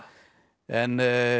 en